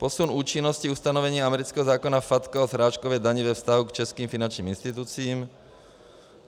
Posun účinnosti ustanovení amerického zákona FATCA o srážkové dani ve vztahu k českým finančním institucím.